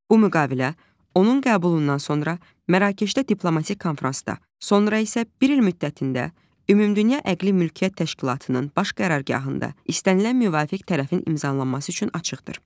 Bu müqavilə onun qəbulundan sonra Mərakeşdə diplomatik konfransda, sonra isə bir il müddətində Ümumdünya Əqli Mülkiyyət Təşkilatının baş qərargahında istənilən müvafiq tərəfin imzalanması üçün açıqdır.